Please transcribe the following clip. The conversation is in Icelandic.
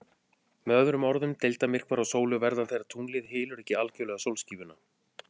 Með öðrum orðum, deildarmyrkvar á sólu verða þegar tunglið hylur ekki algjörlega sólskífuna.